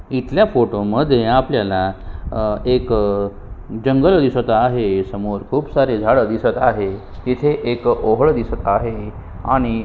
इथल्या फोटो मध्ये आपल्याला एक जंगल दिसत आहे समोर खुप सारे झाडे दिसत आहेत इथे ओहळ दिसत आहे आणि --